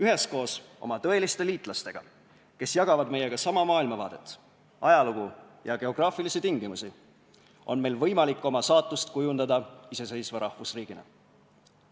Üheskoos oma tõeliste liitlastega, kes jagavad meiega sama maailmavaadet, ajalugu ja geograafilisi tingimusi, on meil võimalik oma saatust kujundada iseseisva rahvusriigina.